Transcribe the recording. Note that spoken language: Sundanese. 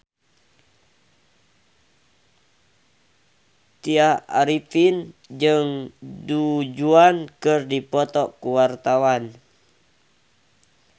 Tya Arifin jeung Du Juan keur dipoto ku wartawan